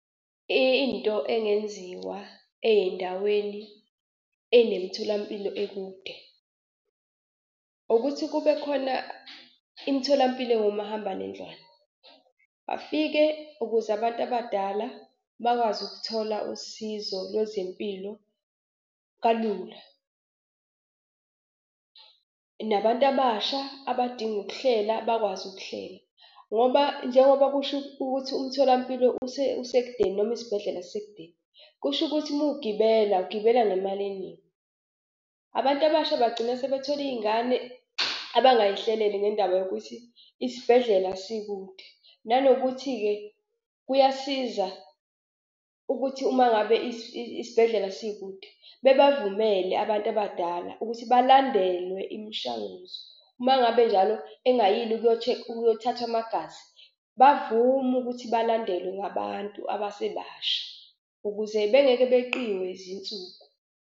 Into engenziwa ey'ndaweni ey'nemitholampilo ekude ukuthi kube khona imitholampilo engomahambanendlwane bafike ukuze abantu abadala bakwazi ukuthola usizo lwezempilo kalula nabantu abasha abadinga ukuhlela bakwazi ukuhlela ngoba njengoba kusho ukuthi umtholampilo usekudeni noma isibhedlela sisekudeni, kushukuthi mugibela ugibela ngemali eningi. Abantu abasha bagcina sebethole iy'ngane abangayihlelele ngendaba yokuthi isibhedlela sikude nanokuthi-ke kuyasiza ukuthi uma ngabe isibhedlela sikude bebavumele abantu abadala ukuthi balandelwe imishanguzo uma ngabe njalo engayile ukuyothathwa amagazi bavume ukuthi balandelwe ngabantu abasebasha ukuze bengeke beqiwe yizinsuku.